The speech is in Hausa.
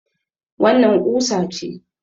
Wannan ƙusa ce.